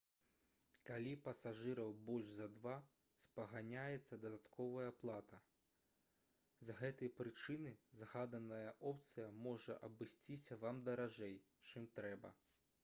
калі пасажыраў больш за 2 спаганяецца дадатковая плата з гэтай прычыны згаданая опцыя можа абысціся вам даражэй чым трэба